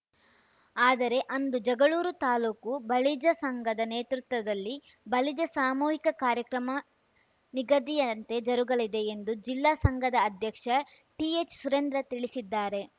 ಆದರೆ ಅಂದು ಜಗಳೂರು ತಾಲೂಕು ಬಲಿಜ ಸಂಘದ ನೇತೃತ್ವದಲ್ಲಿ ಬಲಿಜ ಸಾಮೂಹಿಕ ಕಾರ್ಯಕ್ರಮ ನಿಗದಿಯಂತೆ ಜರುಗಲಿದೆ ಎಂದು ಜಿಲ್ಲಾ ಸಂಘದ ಅಧ್ಯಕ್ಷ ಟಿಎಚ್‌ ಸುರೇಂದ್ರ ತಿಳಿಸಿದ್ದಾರೆ